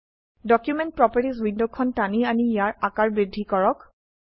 document properties উইন্ডোখন টানি আনি ইয়াৰ আকাৰ বৃদ্ধি কৰক